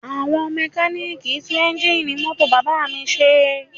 Àwọn mẹ́kalíìkì ń tún eńjíìnì mọ́tò bàbá mi ṣe